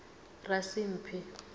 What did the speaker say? rasimphi